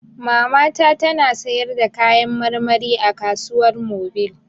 Mamata ta na sayarda kayan marmari a kasuwar mobil